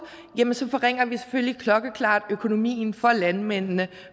så forringer vi selvfølgelig klokkeklart økonomien for landmændene